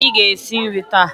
Ee, anyị ga-esi nri taa